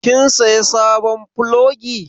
Kin saya sabon plogi?